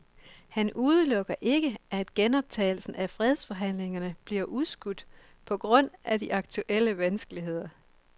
Han udelukker ikke, at genoptagelsen af fredsforhandlingerne bliver udskudt på grund af de aktuelle vanskeligheder.